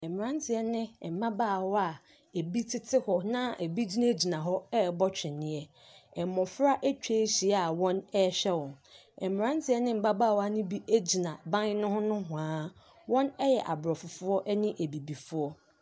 Abrɔfo bi ahyia wɔ edua bi ase a didipono esi hɔ a wɔato nsa redidi. Ebi kura pleet a aduane wɔ so. Abrɔfo no bi hyɛ ahwehwɛniwa. Ebi nso hyɛ kyɛ.